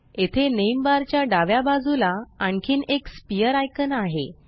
येथे name bar च्या डाव्या बाजूला आणखीन एक स्फियर आइकान आहे